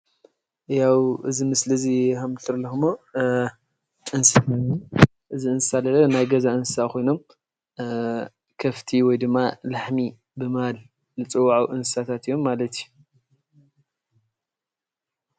ያው እዚ ምስሊ እዚ ከም እትሪእዎ ዘለኹም እንስሳ እዚ እንስሳ ለለ ናይ ገዛ እንስሳ ኮይኑ ከፍቲ ወይ ድማ ላሕሚ እናበልና እንፅውዖ እንስሳታት እዮም ማለት እዩ፡፡